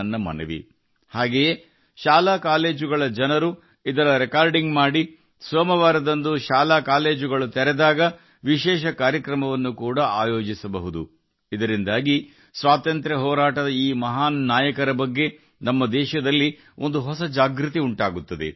ಮತ್ತು ಅದನ್ನು ರೆಕಾರ್ಡ್ ಮಾಡಬಹುದು ಹಾಗೂ ಶಾಲಾಕಾಲೇಜುಗಳ ವಿದ್ಯಾರ್ಥಿಗಳು ಸೋಮವಾರ ಶಾಲಾಕಾಲೇಜು ಪ್ರಾರಂಭವಾದಾಗ ವಿಶೇಷ ಕಾರ್ಯಕ್ರಮ ರೂಪಿಸಿ ಎಲ್ಲರೂ ವೀಕ್ಷಿಸಬಹುದು ಇದರಿಂದ ನಮ್ಮ ದೇಶದಲ್ಲಿ ಸ್ವಾತಂತ್ರ್ಯದ ಜನ್ಮದ ಮಹಾನ್ ವೀರರ ಬಗ್ಗೆ ಹೊಸ ಜಾಗೃತಿ ಮೂಡುತ್ತದೆ